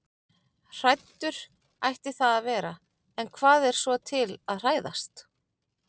Hræddur ætti það að vera- en hvað er svo til að hræðast?